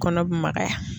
Kɔnɔ bi magaya